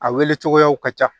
A wele cogoyaw ka ca